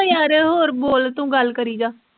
ਯਾਰ ਹੋਰ ਬੋਰ ਗੱਲ ਕਰੀ ਜਾ